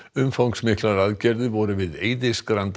umfangsmiklar aðgerðir voru við